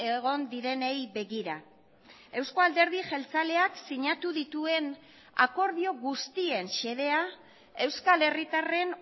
egon direnei begira euzko alderdi jeltzaleak sinatu dituen akordio guztien xedea euskal herritarren